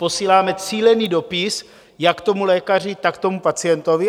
Posíláme cílený dopis jak tomu lékaři, tak tomu pacientovi.